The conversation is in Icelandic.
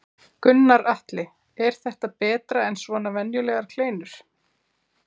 Gunnar Atli: Er þetta betra en svona venjulegar kleinur?